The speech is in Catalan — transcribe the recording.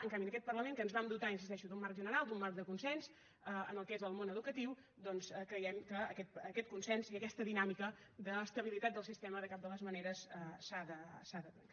en canvi en aquest parlament que ens vam dotar hi insisteixo d’un marc general d’un marc de consens en allò que és el món educatiu doncs creiem que aquest consens i aquesta dinàmica d’estabilitat del sistema de cap de les maneres s’ha de trencar